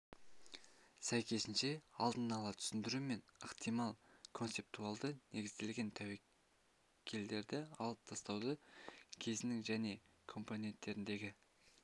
сәйкесінше алдын-ала түсіндіру мен ықтимал концептуалды негізделген тәуекелдерді алып тастауды кезеңнің және компоненттеріндегі